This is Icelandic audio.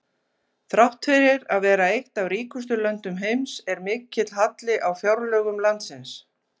Þrátt fyrir að vera eitt af ríkustu löndum heims er mikill halli á fjárlögum landsins.